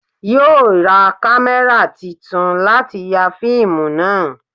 Yóò ra kámẹ́rà titun láti ya fíìmù náà